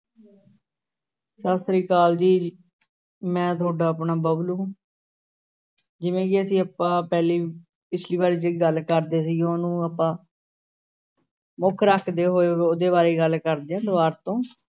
ਸਤਿ ਸ੍ਰੀ ਅਕਾਲ ਜੀ ਮੈਂ ਤੁਹਾਡਾ ਆਪਣਾ ਬਬਲੂ ਜਿਵੇਂ ਕਿ ਅਸੀਂ ਆਪਾਂ ਪਹਿਲੀ ਪਿੱਛਲੀ ਵਾਰੀ ਜਿਹੜੀ ਗੱਲ ਕਰਦੇ ਸੀਗ਼ੇ ਉਹਨੂੰ ਆਪਾਂ ਮੁੱਖ ਰੱਖਦੇ ਹੋਏ ਉਹਦੇ ਬਾਰੇ ਗੱਲ ਕਰਦੇ ਹਾਂ ਦੁਬਾਰ ਤੋਂ